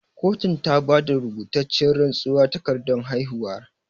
Kotun ta bata rubutacciyar rantsuwar takardan haihuwa